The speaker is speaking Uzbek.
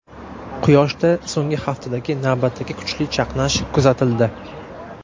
Quyoshda so‘nggi haftadagi navbatdagi kuchli chaqnash kuzatildi.